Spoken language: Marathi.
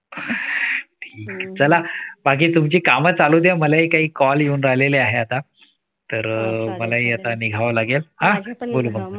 चला बाकी तुमची काम चालुद्या. मलाही काही call येऊन राहिलेले आहे आता. तर अह मलाही आता निघावं लागेल.